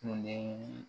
Kun de ye